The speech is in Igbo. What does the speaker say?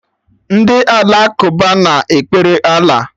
Ndị Alakụba na-ekpere Allah